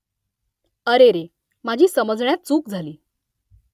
अरेरे माझी समजण्यात चूक झाली